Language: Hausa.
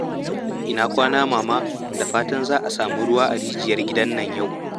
Ina kwana, Mama? Da fatan za a sami ruwa a rijiyar gidan nan yau.